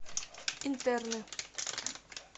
интерны